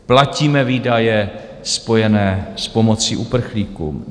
Platíme výdaje spojené s pomocí uprchlíkům.